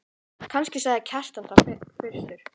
Kannski sagði Kjartan það fyrstur.